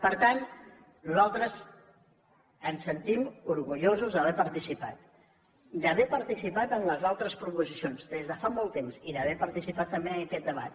per tant nosaltres ens sentim orgullosos d’haver hi participat d’haver participat en les altres proposicions des de fa molt temps i d’haver participat també en aquest debat